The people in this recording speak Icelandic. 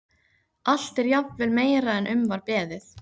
Allt er jafnvel meira en um var beðið.